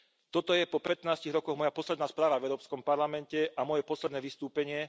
Toto je po 15 rokoch moja posledná správa v Európskom parlamente a moje posledné vystúpenie.